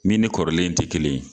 Min ni kɔrɔlen te kelen ye.